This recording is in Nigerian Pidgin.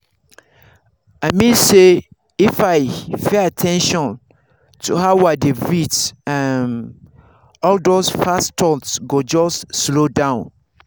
i mean say if i pay at ten tion to how i dey breathe um all those fast thoughts go just slow down.